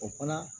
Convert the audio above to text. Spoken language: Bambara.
O fana